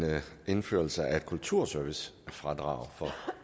indførelse af et kulturservicefradrag for